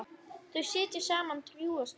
Þau sitja saman drjúga stund.